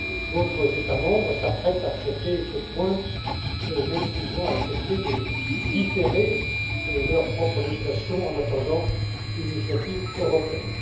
d'autres États membres s'apprêtent à traiter ce point, même s'ils ont accepté de différer leur propre législation, en attendant une initiative européenne.